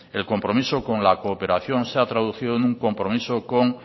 el compromiso con la cooperación se ha traducido en un compromiso con